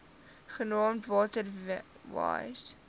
genaamd water wise